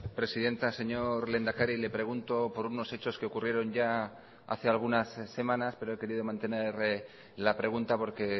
presidenta señor lehendakari le pregunto por unos hechos que ocurrieron ya hace algunas semanas pero he querido mantener la pregunta porque